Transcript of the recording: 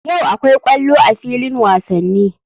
Yau akwai ƙwallo a filin wasani.